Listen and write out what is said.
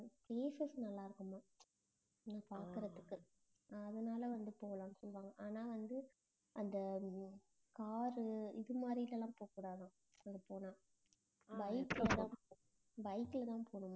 places நல்லா இருக்குமாம் பாக்கறதுக்கு அதனால வந்து போலாம்னு சொல்லுவாங்க ஆனா வந்து அந்த car உ இது மாதிரி எல்லாம் போக்கூடாதாம் அங்க போனா bike ல தான் bike ல தான் போணுமாம்